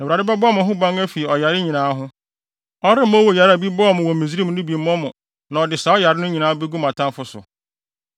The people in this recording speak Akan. Na Awurade bɛbɔ mo ho ban afi ɔyare nyinaa ho. Ɔremma owuyare a bi bɔɔ mo wɔ Misraim no bi mmɔ mo na ɔde saa ɔyare no nyinaa begu mo atamfo so.